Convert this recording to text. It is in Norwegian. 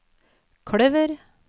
kløver